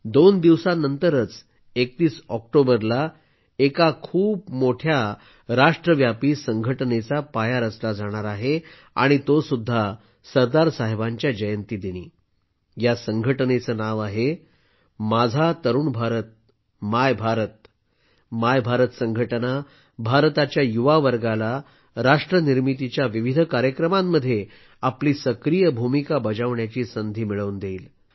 दोन दिवसानंतरच 31 ऑक्टोबरला एक खूप मोठ्या राष्ट्रव्यापी संघटनेचा पाया रचला जाणार आहे आणि तो सुद्धा सरदार साहेबांच्या जयंतीदिनी या संघटनेचं नाव आहेमाझा तरुण भारतमाय भारत माय भारत संघटना भारताच्या युवा वर्गाला राष्ट्र निर्मितीच्या विविध कार्यक्रमांमध्ये आपली सक्रीय भूमिका बजावण्याची संधी मिळवून देईल